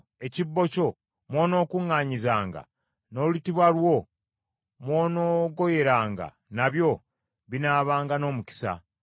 Ekibbo kyo mw’onookuŋŋaanyizanga, n’olutiba lwo mw’onoogoyeranga nabyo binaabanga n’omukisa.